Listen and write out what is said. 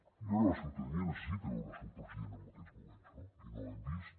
i ara la ciutadania necessita veure el seu president en aquests moments no i no hem vist